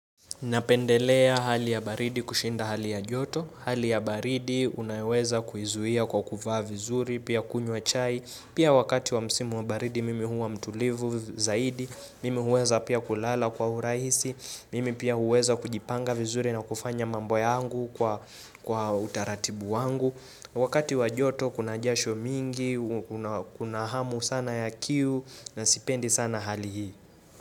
Napendelea hali ya baridi kushinda hali ya joto. Hali ya baridi unaweza kuizuia kwa kuvaa vizuri, pia kunywa chai. Pia wakati wa msimu wa baridi mimi huwa mtulivu zaidi. Mimi huweza pia kulala kwa urahisi. Mimi pia huweza kujipanga vizuri na kufanya mambo yangu kwa utaratibu wangu. Wakati wa joto kuna jasho mingi, kuna hamu sana ya kiu na sipendi sana hali hii.